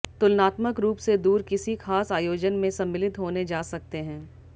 तुलनात्मक रूप से दूर किसी खास आयोजन में सम्मिलित होने जा सकते हैं